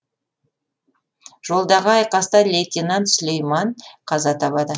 жолдағы айқаста лейтенант сүлейман қаза табады